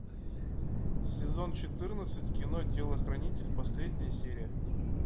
сезон четырнадцать кино телохранитель последняя серия